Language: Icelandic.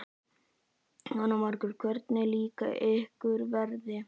Jóhanna Margrét: Hvernig líka ykkur veðrið?